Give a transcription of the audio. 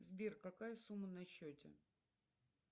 сбер какая сумма на счете